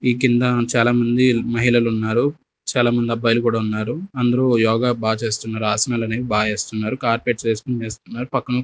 ఈ కింద చాలా మంది మహిళలున్నారు చాలామంది అబ్బాయిలు కూడా ఉన్నారు అందరూ యోగా బా చేస్తున్నారు ఆసనాలనేవి బా చేస్తున్నారు కార్పెట్స్ వేసుకుని వేస్తున్నారు పక్కన --